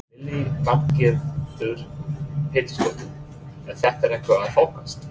Lillý Valgerður Pétursdóttir: Er þetta eitthvað að þokast?